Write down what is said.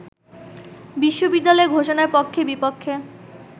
বিশ্ববিদ্যালয় ঘোষণার পক্ষে-বিপক্ষে